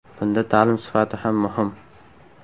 Bunda ta’lim sifati ham muhim.